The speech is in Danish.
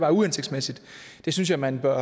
er uhensigtsmæssigt og det synes jeg man bør